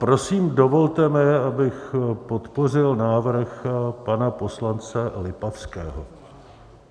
Prosím, dovolte mi, abych podpořil návrh pana poslance Lipavského.